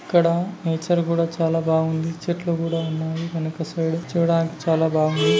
ఇక్కడ నేచర్ కూడా చాలా బాగుంది చెట్లు కూడా ఉన్నాయి వెనక సైడ్ చూడడానికి చాలా బాగుంది.